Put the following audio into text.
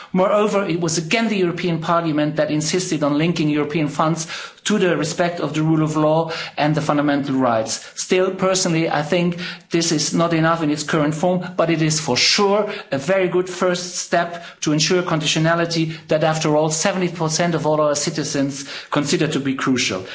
Moreover, it was again the European Parliament that insisted on linking European funds to respect for the rule of law and fundamental rights. Still, personally I think this is not enough in its current form, but it is for sure a very good first step to ensure conditionality that after all 70 of all citizens consider to be crucial.